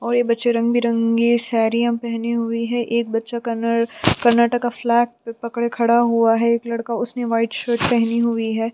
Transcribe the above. और बच्चे रंग बिरंगी साड़ीया पहनी हुई है एक बच्चा करना कर्नाटका फ्लैग पकड़ा खड़ा हुआ है एक लड़का उसने व्हाइट शर्ट पहनी हुई है।